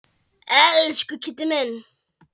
Elsku Kiddi minn.